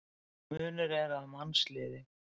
Munur er að mannsliði.